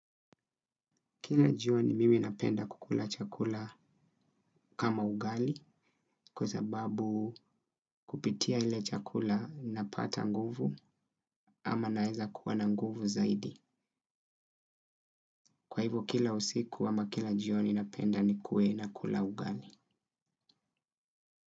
Kila jioni mimi napenda kukula chakula kama ugali kwa sababu kupitia ile chakula napata nguvu ama naweza kuwa na nguvu zaidi. Kwa hivo kila usiku ama kila jioni napenda ni kuwe na kula ugali.